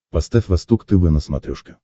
поставь восток тв на смотрешке